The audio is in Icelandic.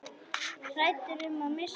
Hræddur um að missa hana.